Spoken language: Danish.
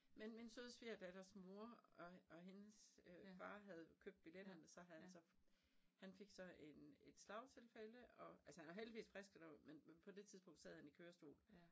Men min søde svigerdatters mor og og hendes øh far havde købt billetterne så havde han så han fik så en et slagtilfælde og altså han er heldigvis frisk og der var men men på det tidspunkt sad han i kørestol